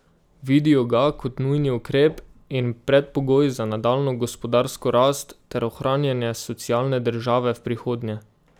Vidijo ga kot nujni ukrep in predpogoj za nadaljnjo gospodarsko rast ter ohranjanje socialne države v prihodnje.